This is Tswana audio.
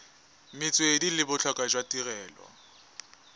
metswedi le botlhokwa jwa tirelo